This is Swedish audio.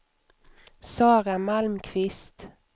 Sara Malmqvist